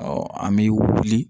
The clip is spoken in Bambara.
Ɔ an bɛ wuli